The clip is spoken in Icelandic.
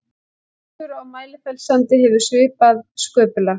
Strútur á Mælifellssandi hefur svipað sköpulag.